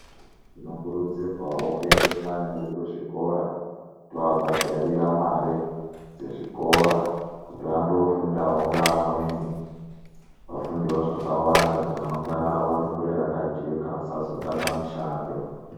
Tinokurudzirwawo kuendesa vana vedu kuzvikora toabhadharira mare dzezvikora kuti vandofundawo ngeamweni ,vafundewo zvakawanda, kuti ramangwana rawo rikure rakajeka , vasazotame mishando.